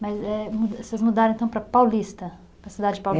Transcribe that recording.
Mas eh, vocês mudaram então para Paulista, para a cidade Paulista.